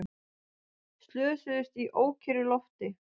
Slösuðust í ókyrru lofti